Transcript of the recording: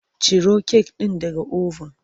Ciro kek ɗin daga oven!